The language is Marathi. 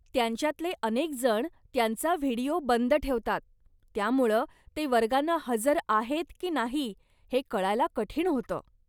त्यांच्यातले अनेकजण त्यांचा व्हिडिओ बंद ठेवतात, त्यामुळं ते वर्गांना हजर आहेत की नाही हे कळायला कठीण होतं.